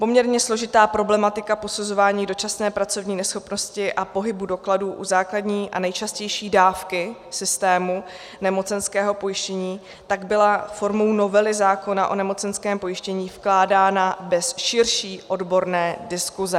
Poměrně složitá problematika posuzování dočasné pracovní neschopnosti a pohybu dokladů u základní a nejčastější dávky systému nemocenského pojištění tak byla formou novely zákona o nemocenském pojištění vkládána bez širší odborné diskuse.